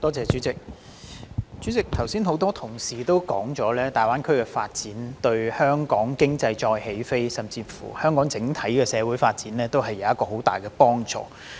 代理主席，剛才很多同事提到，粵港澳大灣區的發展對香港經濟再起飛，甚或對香港整體社會發展，均有很大幫助。